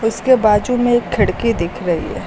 उसके बाजू में एक खिड़की दिख रही है।